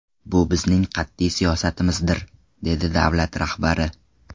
Bu bizning qat’iy siyosatimizdir, dedi davlat rahbari.